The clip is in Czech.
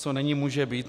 Co není, může být.